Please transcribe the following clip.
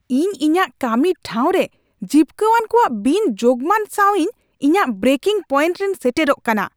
ᱤᱧ ᱤᱧᱟᱹᱜ ᱠᱟᱹᱢᱤ ᱴᱷᱟᱶ ᱨᱮ ᱡᱤᱯᱠᱟᱹᱣᱟᱱ ᱠᱚᱣᱟᱜ ᱵᱤᱱᱼᱡᱳᱜᱽᱢᱟᱱ ᱥᱟᱶ ᱤᱧ ᱤᱧᱟᱹᱜ ᱵᱨᱮᱠᱤᱝ ᱯᱚᱭᱮᱱᱴ ᱨᱤᱧ ᱥᱮᱴᱮᱨᱚᱜ ᱠᱟᱱᱟ ᱾